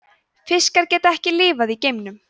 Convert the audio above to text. fiskar geta ekki lifað í geimnum